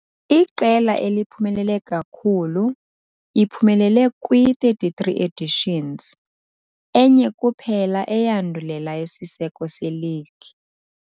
Iqela eliphumelele kakhulu , iphumelele kwii-33 editions, enye kuphela eyandulela isiseko seligi.